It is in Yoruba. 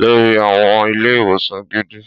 lori àwọn ilé-ìwòsàn gidi